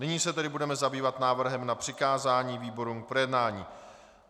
Nyní se tedy budeme zabývat návrhem na přikázání výborům k projednání.